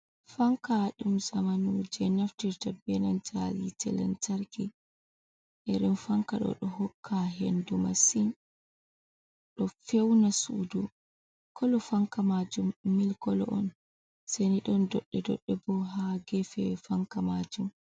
Fanka ɗum zamanu je naftirta benan hite lanntarki, iren fanka ɗo ɗo hokka hendu masin, ɗo feuna sudu kolo fanka majum mil kolo on seni ɗon dodde dodde bo ha gefew fanka majum.